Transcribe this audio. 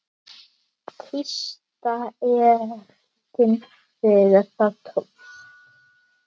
Tísta ertin þegar það tókst.